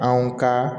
Anw ka